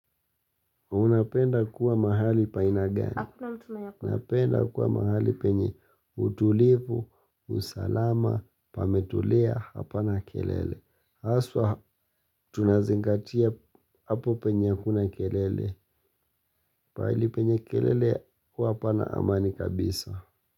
Unapenda kuwa mahali pa ina gani? Unapenda kuwa mahali penye utulivu, usalama, pametulia, hapana kelele. Haswa tunazingatia hapo penye hakuna kelele. Paali penye kelele huwa hapana amani kabisa.